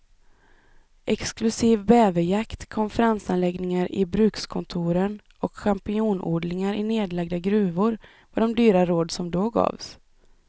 Exklusiv bäverjakt, konferensanläggningar i brukskontoren och champinjonodlingar i nedlagda gruvor var de dyra råd som då gavs.